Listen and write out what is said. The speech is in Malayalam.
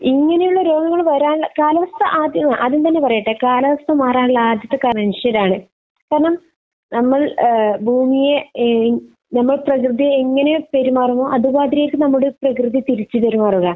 ഇങ്ങനെയുള്ള രോഗങ്ങൾ വരാൻ കാരണം ആദ്യം തന്നെ പറയട്ടെ. കാലാവസ്ഥ മാറാനുള്ള ആദ്യത്തെ കാരണം മനുഷ്യരാണ്. കാരണം നമ്മൾ ഏഹ് ഭൂമിയെ ഏഹ് നമ്മൾ പ്രകൃതിയോട് എങ്ങനെ പെരുമാറുന്നുവോ അതുമാതിരിയായിരിക്കും നമ്മളോട് പ്രകൃതി തിരിച്ച് പെരുമാറുക.